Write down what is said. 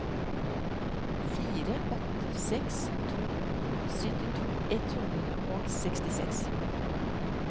fire åtte seks to syttito ett hundre og sekstiseks